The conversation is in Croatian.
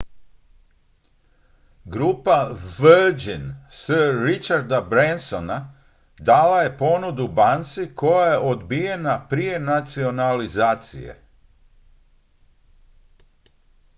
grupa virgin sir richarda bransona dala je ponudu banci koja je odbijena prije nacionalizacije